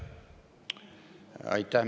Aitäh!